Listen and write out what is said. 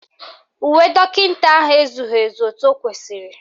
Uwe dọkịta ahụ ezughị ezu etu o kwesiri